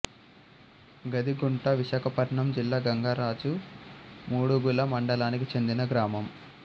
గదిగుంట విశాఖపట్నం జిల్లా గంగరాజు మాడుగుల మండలానికి చెందిన గ్రామం